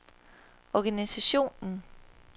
organisationen